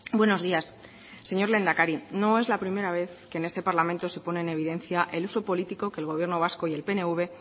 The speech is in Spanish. buenos días señor lehendakari no es la primera vez que en este parlamento se pone en evidencia el uso político que el gobierno vasco y el pnv